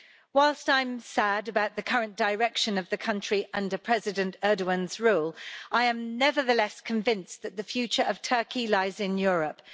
Whilst I am sad about the current direction of the country under President Erdoğan's rule, I am nevertheless convinced that the future of Turkey lies in Europe.